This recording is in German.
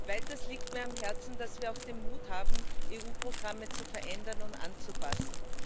Weiter liegt mir am Herzen, dass wir auch den Mut haben, EU Programme zu verändern und anzupassen.